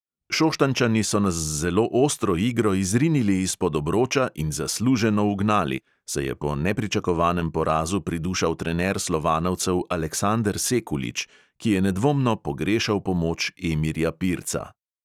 "Šoštanjčani so nas z zelo ostro igro izrinili izpod obroča in zasluženo ugnali," se je po nepričakovanem porazu pridušal trener slovanovcev aleksander sekulič, ki je nedvomno pogrešal pomoč emirja pirca.